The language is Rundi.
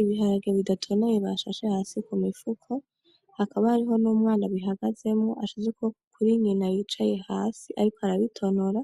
Ibiharage bidatonaye bashashe hasi k'umifuko, hakaba hariho n'umwana abihagazemwo ashize ukuboko kuri nyina yicaye hasi, ariko arabitonora